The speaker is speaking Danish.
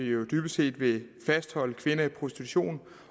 jo dybest set vil fastholde kvinder i prostitution